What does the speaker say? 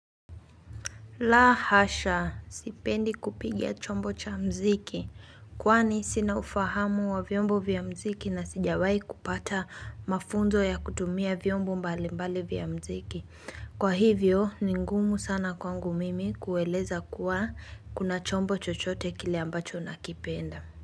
La hasha, sipendi kupiga chombo cha mziki, kwani sina ufahamu wa vyombo vya mziki na sijawai kupata mafunzo ya kutumia vyombo mbali mbali vya mziki. Kwa hivyo, ni ngumu sana kwangu mimi kueleza kuwa kuna chombo chochote kile ambacho nakipenda.